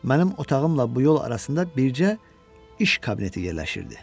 Mənim otağımla bu yol arasında bircə iş kabineti yerləşirdi.